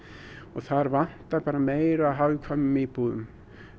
þar vantar bara meira af hagkvæmum íbúðum